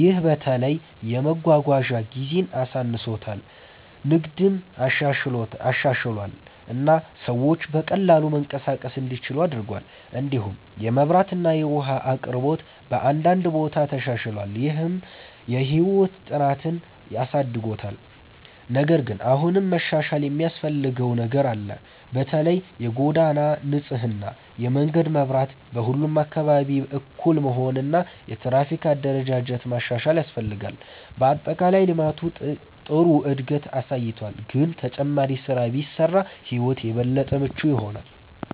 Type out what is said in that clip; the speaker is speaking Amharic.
ይህ በተለይ የመጓጓዣ ጊዜን አሳንሶታል፣ ንግድን አሻሽሏል እና ሰዎች በቀላሉ መንቀሳቀስ እንዲችሉ አድርጓል። እንዲሁም የመብራት እና የውሃ አቅርቦት በአንዳንድ ቦታ ተሻሽሏል፣ ይህም የህይወት ጥራትን አሳድጎታል። ነገር ግን አሁንም መሻሻል የሚያስፈልገው ነገር አለ። በተለይ የጎዳና ንጽህና፣ የመንገድ መብራት በሁሉም አካባቢ እኩል መሆን እና የትራፊክ አደረጃጀት ማሻሻል ያስፈልጋል። በአጠቃላይ ልማቱ ጥሩ እድገት አሳይቷል፣ ግን ተጨማሪ ስራ ቢሰራ ሕይወት የበለጠ ምቹ ይሆናል።